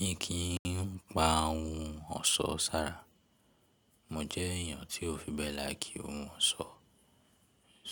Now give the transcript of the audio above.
Mi kì n pa ohun ọ̀ṣọ́ sára. Mo jẹ́ èyàn tí ó fi bẹ láìkí ohun ọ̀ṣọ́.